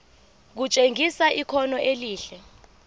kutshengisa ikhono elihle